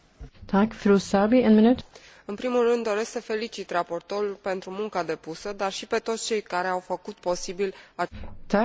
În primul rând doresc să felicit raportorul pentru munca depusă, dar și pe toți cei care au făcut posibil acest compromis.